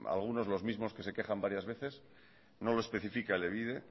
algunos los mismos que se quejas varias veces no lo especifica elebide